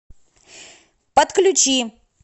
подключи